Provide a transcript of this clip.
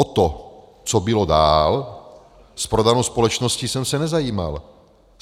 O to, co bylo dál s prodanou společností, jsem se nezajímal.